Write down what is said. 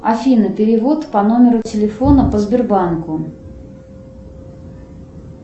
афина перевод по номеру телефона по сбербанку